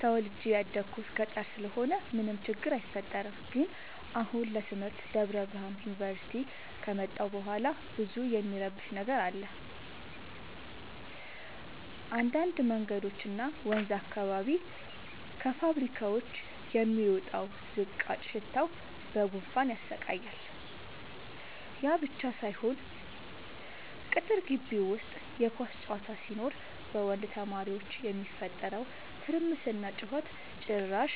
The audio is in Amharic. ተወልጄ የደኩት ገጠር ስለሆነ ምንም ችግር አይፈጠርም። ግን አሁን ለትምህርት ደብረብርሃን ዮንቨርሲቲ ከመጣሁ በኋላ ብዙ እሚረብሽ ነገር አለ እንዳድ መንገዶች እና ወንዝ አካባቢ ከፋብካዎች የሚወጣው ዝቃጭ ሽታው በጉንፋን ያሰቃያል። ያብቻ ሳይሆን ቅጥር ጊቢ ውስጥ የኳስ ጨዋታ ሲኖር በወንድ ተማሪዎች የሚፈጠረው ትርምስና ጩኸት ጭራሽ